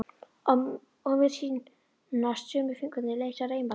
Og mér sýnast sömu fingurnir leysa reimarnar.